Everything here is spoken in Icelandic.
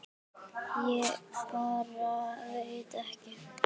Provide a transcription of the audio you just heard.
Ég bara veit ekki.